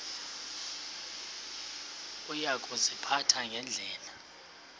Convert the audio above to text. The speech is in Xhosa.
uya kuziphatha ngendlela